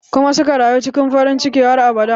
Kuma suka rayu cikin farin ciki har abada